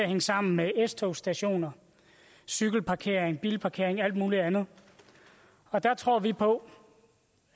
hænge sammen med s togsstationer cykelparkering bilparkering og alt muligt andet der tror vi på